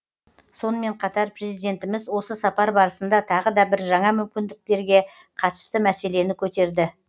сонымен қатар президентіміз осы сапар барысында тағы да бір жаңа мүмкіндерге қатысты мәселені көтерді